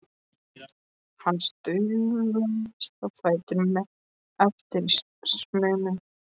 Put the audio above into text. Hann staulaðist á fætur með erfiðismunum.